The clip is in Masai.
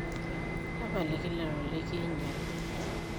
Tapaliki lelo likinyial.